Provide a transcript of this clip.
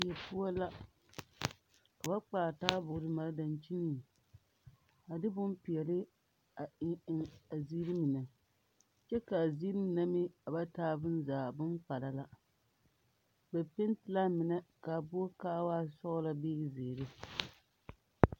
Die poɔ la ka ba kpaare taaboore mare dankyiniŋ a de bompeɛle eŋ eŋ a ziiri mine kyɛ ka a ziiri mine meŋ a ba taa bonzaa boŋkpala la ba peete la a mine ka a boɔrɔ ka a waa sɔglaa bee ka zeere.